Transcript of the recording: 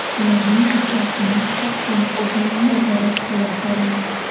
Ularning ijrosini shaxsan o‘zim nazorat qilib boraman.